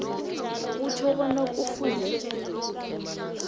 kutjho bona kufuze